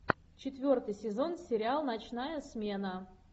четвертый сезон сериал ночная смена